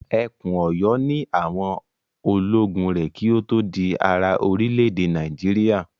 Ẹkùn Ọ̀yọ́ ni àwọn ológun rẹ̀ kí ó tó di ara orílẹ̀-èdè Nàìjíríà.